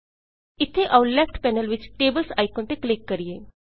ਇੱਥੇ ਆਉ left panel ਵਿੱਚ Tablesਟੇਬਲਜ਼ ਆਈਕਨ ਤੇ ਕਲਿੱਕ ਕਰੀਏ